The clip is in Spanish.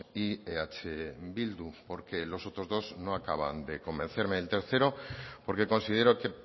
y eh bildu porque los otros dos no acaban de convencerme el tercero porque considero que